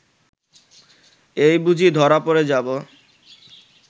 এই বুঝি ধরা পড়ে যাব